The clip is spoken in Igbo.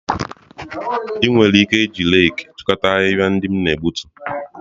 Ị nwere ike iji reeki chịkọta ahịhịa ndị m na-egbutu